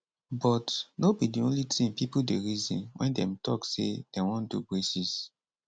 but no be di only tin pipo dey reason wen dem tok say dem wan do braces